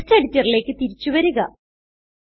text എഡിറ്ററിലേക്ക് തിരിച്ചു വരുക